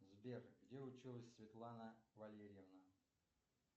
сбер где училась светлана валерьевна